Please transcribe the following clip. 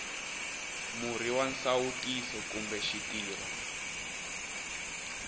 murhi wa nsawutiso kumbe xitirho